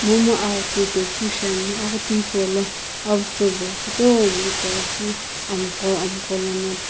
momu aghutu to keu shiane aguthu hipolo avucho kutomo apighi keu amgho amgho lono.